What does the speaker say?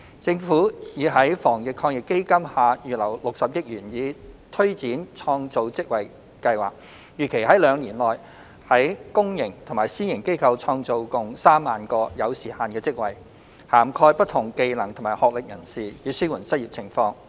政府已在防疫抗疫基金下預留60億元以推展創造職位計劃，預期在兩年內於公營及私營機構創造共 30,000 個有時限的職位，涵蓋不同技能及學歷人士，以紓緩失業情況。